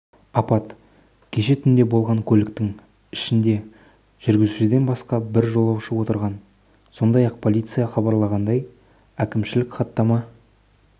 апат кеше түнде болған көліктің ішінде жүргізушіден басқа бір жолаушы отырған сондай-ақ полиция хабарлағандай әкімшілік хаттама